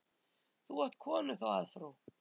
Þú átt konu þá að frú.